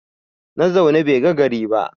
Na zaune bai ga gari ba